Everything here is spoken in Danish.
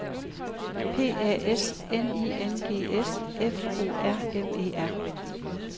P A S N I N G S F O R M E R